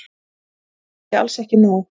Það sé alls ekki nóg.